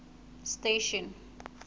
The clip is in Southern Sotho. station